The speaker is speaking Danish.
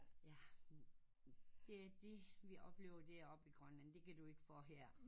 Det er det vi oplever deroppe i Grønland du kan du ikke få her